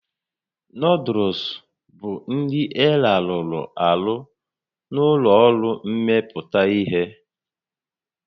Noodụls bụ nri elarụrụ arụ na ụlọ ọrụ mmepụta ihe